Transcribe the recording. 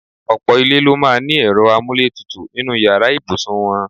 Ọ̀pò̩ ilé ló máa ní e̩ro̩ amúlétutù nínú yàrá ìbùsùn wo̩n.